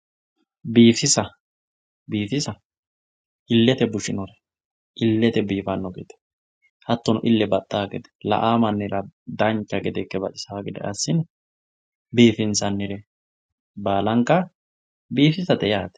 biifisa, biifisa illete bushinore illete biifanno gede hattono ille baxxanno gede la"awoo mannira dancha gede baxisanno gede assine biifinsannire baalanka biifisate yaate.